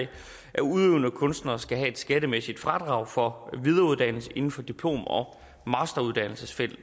at udøvende kunstnere skal have et skattemæssigt fradrag for videreuddannelse inden for diplom og masteruddannelsesfeltet